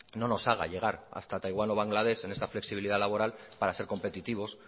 no nos haga llegar hasta taiwán o bangladesh en esta flexibilidad laboral para ser competitivos